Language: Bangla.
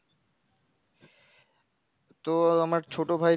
তো আমার ছোট ভাই,